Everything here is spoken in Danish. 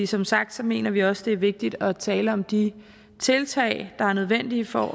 som sagt mener vi også det er vigtigt at tale om de tiltag der er nødvendige for